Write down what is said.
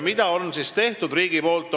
Mida on riik teinud?